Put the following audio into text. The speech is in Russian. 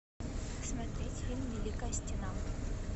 смотреть фильм великая стена